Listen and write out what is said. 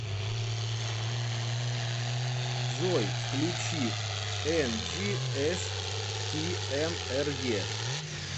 джой включи энджиэштиэмэре